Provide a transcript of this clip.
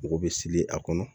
Mɔgɔ bɛ seli a kɔnɔ